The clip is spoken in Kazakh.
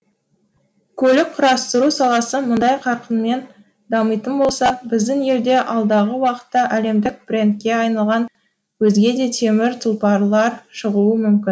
көлік құрастыру саласы мұндай қарқынмен дамитын болса біздің елде алдағы уақытта әлемдік брендке айналған өзге де темір тұлпарлар шығуы мүмкін